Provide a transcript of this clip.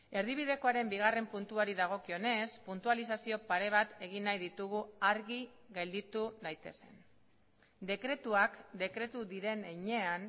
erdibidekoaren bigarren puntuari dagokionez puntualizazio pare bat egin nahi ditugu argi gelditu daitezen dekretuak dekretu diren heinean